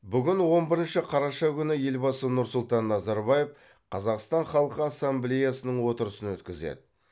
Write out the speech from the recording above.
бүгін он бірінші қараша күні елбасы нұрсұлтан назарбаев қазақстан халқы ассамблеясының отырысын өткізеді